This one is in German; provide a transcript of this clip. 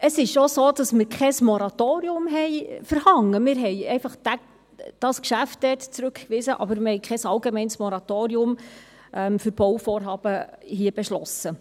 Es ist so, dass wir kein Moratorium verhängt haben, wir haben einfach dieses Geschäft zurückgewiesen, haben aber kein allgemeines Moratorium für Bauvorhaben beschlossen.